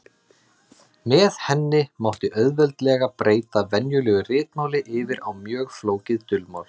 Með henni mátti auðveldlega breyta venjulegu ritmáli yfir á mjög flókið dulmál.